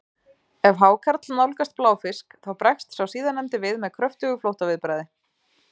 ef hákarl nálgast bláfisk þá bregst sá síðarnefndi við með kröftugu flóttaviðbragði